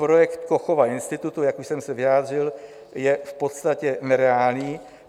Projekt Kochova institutu, jak už jsem se vyjádřil, je v podstatě nereálný.